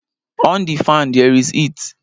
On the fan! There is heat!